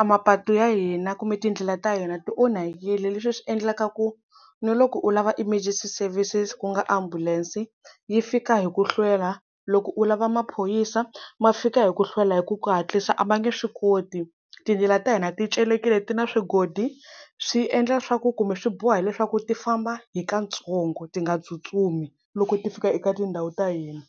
a mapatu ya hina kumbe tindlela ta yena ti onhakile leswi swi endlaka ku ni loko u lava emergency services ku nga ambulense yi fika hi ku hlwela loko u lava maphorisa ma fika hi ku hlwela hi ku ku hatlisa a ma nge swi koti tindlela ta hina ti celekile ti na swigolo swi endla swaku kumbe swi boha leswaku ti famba hi kantsongo ti nga tsutsumi loko ti fika eka tindhawu ta hina.